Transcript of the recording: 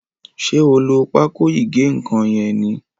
ṣe o ló Pákò ìgé-nǹkan yén ní?